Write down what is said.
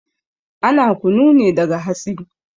Ana kunu ne daga hatsi